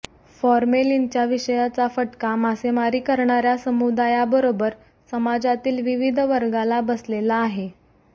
फॉर्मेलिनच्या विषयाचा फटका मासेमारी करणार्या समुदायाबरोबर समाजातील विविध वर्गाला बसलेला आहे